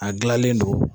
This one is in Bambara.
A gilanlen don